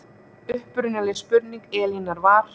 Upprunaleg spurning Elínar var